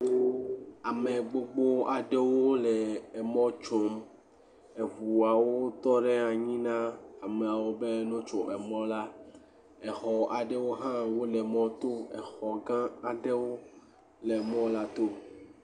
Ame gbogbo aɖewo le emɔ tsom. Eŋuawo tɔ ɖe anyi na ameawo be ne wotso emɔla. Exɔ aɖewo hã wole mɔto. Exɔ gã aɖewo le mɔlato.